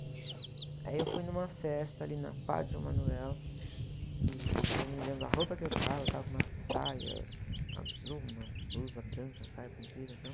Aí eu fui numa festa ali na Padre João Manuel e eu me lembro da roupa que eu estava, eu estava com uma saia azul, uma blusa branca, saia comprida e tal.